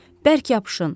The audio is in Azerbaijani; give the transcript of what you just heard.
Bərk yapışın,